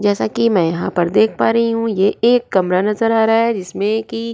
जैसा कि मैं यहां पर देख पा रही हूं ये एक कमरा नजर आ रहा है जिसमें कि --